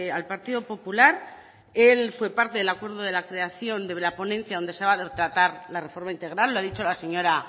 al partido popular él fue parte del acuerdo de la creación de la ponencia donde se va tratar la reforma integral lo ha dicho la señora